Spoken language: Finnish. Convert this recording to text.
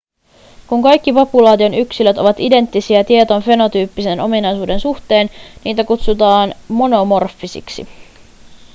kun kaikki populaation yksilöt ovat identtisiä tietyn fenotyyppisen ominaisuuden suhteen niitä kutsutaan monomorfisiksi